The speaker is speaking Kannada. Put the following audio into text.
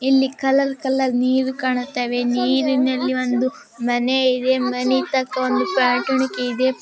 ಇಲ್ಲಿ ಕಲರ್‌ ಕಲರ್‌ ನೀರು ಕಾಣುತ್ತವೆ. ನೀರಿನಲ್ಲಿ ಒಂದು ಮನೆ ಇದೆ. ಮನೆ ತಕ್ಕ ಒಂದು ಪಾಟುಣಿಕೆ ಇದೆ.